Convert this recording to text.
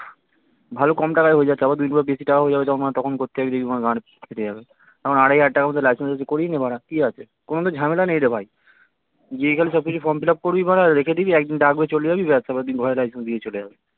ভালো কম টাকায় হয়ে যায় তারপর বেশি টাকা হয়ে যাবে বাড়া তখন করতে যাবি দেখবি বাড়া গাড় ফেটে যাবে এখন আড়াই হাজার টাকার মধ্যে license করিয়ে নে বাড়া কি আছে কোনো তো ঝামেলা নেই রে ভাই গিয়ে খালি সব কিছু form fill up করবি বাড়া রেখে দিবি একদিন ডাকবে চলে যাবি তারপরে দেখবি ব্যস ঘরে license দিয়ে চলে যাবে